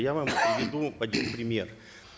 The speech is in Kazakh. я вам приведу один пример